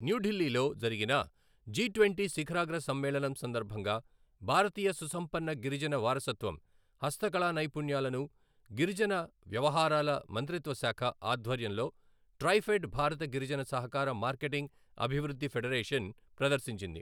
న్యూఢిల్లీలో జరిగిన G twenty శిఖరాగ్ర సమ్మేళనం సందర్భంగా భారతీయ సుసంపన్న గిరిజన వారసత్వం, హస్తకళానైపుణ్యాలను, గిరిజన వ్యవహారాల మంత్రిత్వశాఖ ఆధ్వర్యంలో, ట్రైఫెడ్ భారత గిరిజన సహకార మార్కెటింగ్ అభివృద్ధి ఫెడరేషన్ ప్రదర్శించింది.